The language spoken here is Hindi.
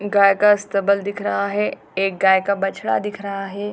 गाय का अस्तबल दिख रहा है | एक गाय का बछड़ा दिख रहा है |